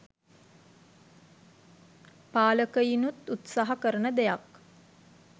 පාලකයිනුත් උත්සාහ කරන දෙයක්